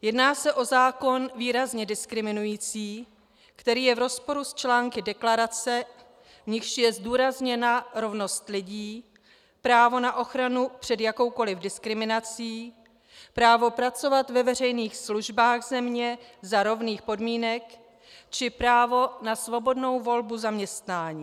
Jedná se o zákon výrazně diskriminující, který je v rozporu s články deklarace, v nichž je zdůrazněna rovnost lidí, právo na ochranu před jakoukoli diskriminací, právo pracovat ve veřejných službách země za rovných podmínek či právo na svobodnou volbu zaměstnání.